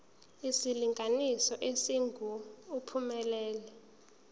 isilinganiso esingu uphumelele